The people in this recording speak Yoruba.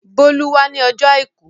Bólú wá ní ọjọ́ àìkú.